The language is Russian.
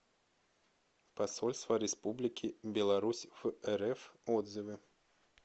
посольство республики беларусь в рф отзывы